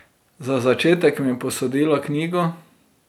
Za začetek mi je posodila knjigo.